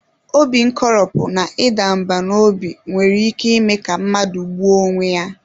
Obi nkoropụ na ịda mbà n'obi nwere ike ime ka mmadụ gbuo onwe ya.